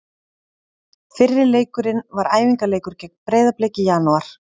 Fyrri leikurinn var æfingaleikur gegn Breiðablik í janúar.